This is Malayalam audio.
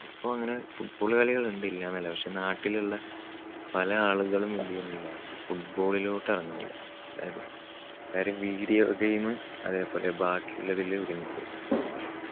ഇപ്പോ അങ്ങനെ football കളികൾ ഉണ്ട്, ഇല്ലാന്നല്ല. പക്ഷേ നാട്ടിലുള്ള പല ആളുകളും എന്ത് ചെയ്യുന്നില്ല football ലോട്ട് ഇറങ്ങുന്നില്ല. അതായത് കാര്യം video game അതേപോലെ ബാക്കിയുള്ളതില് ഒതുങ്ങിപോയി.